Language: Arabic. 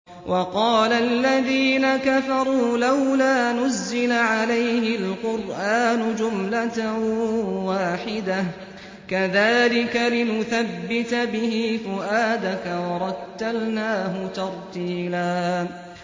وَقَالَ الَّذِينَ كَفَرُوا لَوْلَا نُزِّلَ عَلَيْهِ الْقُرْآنُ جُمْلَةً وَاحِدَةً ۚ كَذَٰلِكَ لِنُثَبِّتَ بِهِ فُؤَادَكَ ۖ وَرَتَّلْنَاهُ تَرْتِيلًا